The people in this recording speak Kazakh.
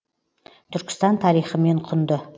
түркістан тарихымен құнды